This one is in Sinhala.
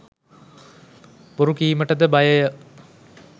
බොරු කීමටද බයය